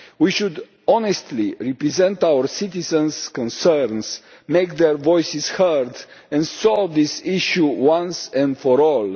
We should honestly represent our citizens' concerns, make their voices heard and solve this issue once and for all.